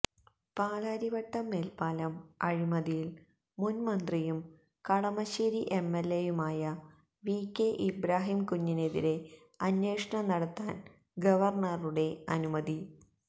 പാലാരിവട്ടം മേല്പ്പാലം അഴിമതിയില് മുന് മന്ത്രിയും കളമശ്ശേരി എംഎല്എയുമായ വി കെ ഇബ്രാഹിം കുഞ്ഞിനെതിരെ അന്വേഷണം നടത്താന് ഗവര്ണറുടെ അനുമതി